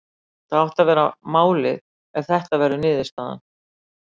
Það ætti að vera málið ef þetta verður niðurstaðan.